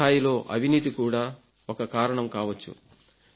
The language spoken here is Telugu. కిందిస్థాయిలో అవినీతి ఇది కూడా కారణం కావచ్చు